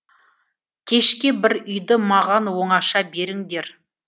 кешке бір үйді маған оңаша беріңдер